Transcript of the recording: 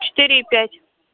четыре и пять